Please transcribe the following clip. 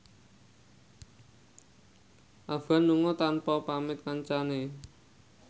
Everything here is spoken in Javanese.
Afgan lunga tanpa pamit kancane